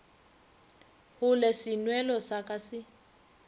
gole senwelo sa ka se